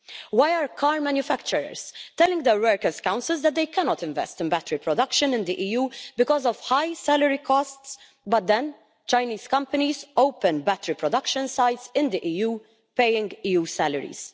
Why are car manufacturers, telling their workers' councils that they cannot invest in battery production in the EU because of high salary costs, but then Chinese companies open battery production sites in the EU paying EU salaries.